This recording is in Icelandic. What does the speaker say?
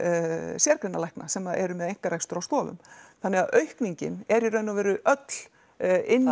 sérgreinalækna sem eru með einkarekstur á stofum þannig að aukningin er í raun og veru öll inn í